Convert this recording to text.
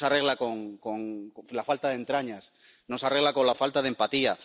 No se arregla con la falta de entrañas. No se arregla con la falta de empatía.